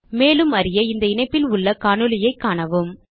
மேலும் அறிய இந்த இணைப்பில் உள்ள காணொளியைக் காணவும்